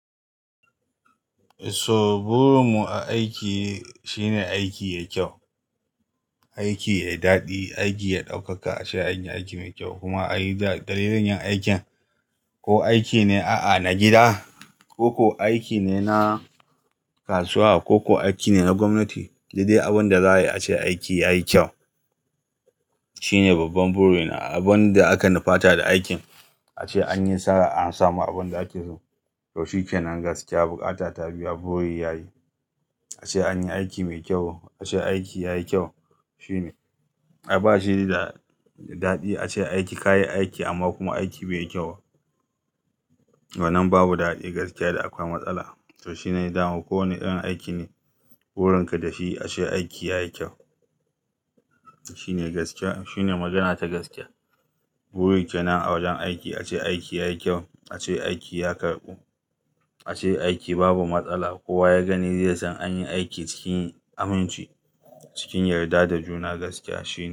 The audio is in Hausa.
So burin mu a aiki shine aiki yayi kyau, aiki yayi daɗi, aiki ya ɗaukaka, ace anyi aiki mai kyau kuma ai dalilin yin aikin. Ko aiki ne a'a na gida, ko ko aiki ne na kasuwa, ko ko aiki ne na gwamnati, daidai abin da za'ayi a ce aiki yayi kyau shine babban burina. Abin da aka nufata da aikin ace anyi nasara, an samu abin da ake so. To shikenan gaskiya, bukata ta biya buri yayi. Ace anyi aiki mai kyau, ace aiki yayi kyau shine. A'a bashida daɗi ace aiki kayi aiki amma kuma aiki bai yi kyau ba. Wannan babu daɗi gaskiya da akwai matsala. To shine dawo. Kowanne irin aiki ne burin ka da shi ace aiki yayi kyau shine gaskiya. Shine magana ta gaskiya. Burin kenan a wajen aiki ace aiki yayi kyau, ace aiki ya karɓu, ace aiki babu matsala. Kowa ya gani zai san anyi aiki cikin aminci, cikin yarda da juna gaskiya shine.